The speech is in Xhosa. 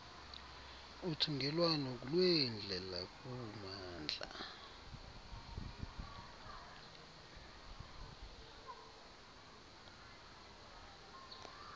uthungelwano lweendlela kummandla